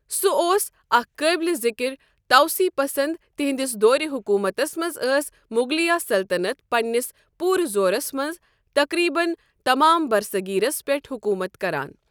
سُہ اوس أکھ قٲبلِ ذِکر توسیع پسند تہندِس دورِ حکوٗمتس منٛز ٲس مغلیہ سلطنت پننِس پورٕ زورس منٛز، تقریبن تمام برصغیرس پٮ۪ٹھ حکوٗمت کران۔